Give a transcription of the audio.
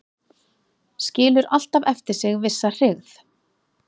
Skilur alltaf eftir sig vissa hryggð